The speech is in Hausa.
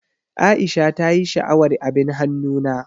Aisha ta ƴi sha'awar abin hannu na.